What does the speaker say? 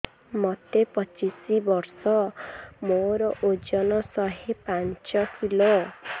ମୋତେ ପଚିଶି ବର୍ଷ ମୋର ଓଜନ ଶହେ ପାଞ୍ଚ କିଲୋ